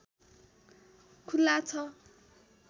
खुला छ